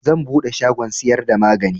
Zan buɗe shagon siyar da magani